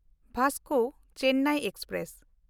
Vasco Chennai express